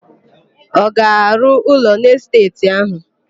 Ọ ga-arụ ụlọ n'esteeti áhụ̀?